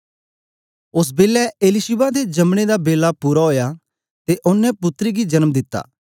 ओसबेलै एलीशिबा दे जमने दा बेला पूरा ओया ते ओनें पुत्तर गी जन्म दिता